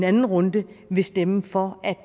anden runde vil stemme for